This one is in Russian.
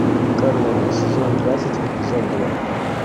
корона сезон двадцать эпизод два